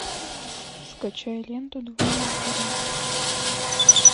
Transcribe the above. скачай ленту два богатыря